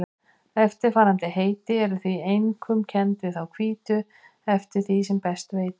Eftirfarandi heiti eru einkum kennd við þá hvítu eftir því sem ég best veit.